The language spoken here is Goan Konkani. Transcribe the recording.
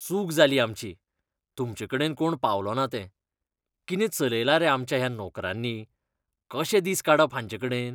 चूक जाली आमची, तुमचेकडेन कोण पावलो ना तें. कितें चलयलां रे आमच्या ह्या नोकरांनी. कशे दीस काडप हांचेकडेन?